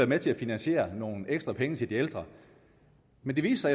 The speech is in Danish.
med til at finansiere nogle ekstra penge til de ældre men det viste